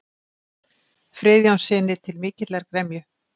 Friðjónssyni, til mikillar gremju.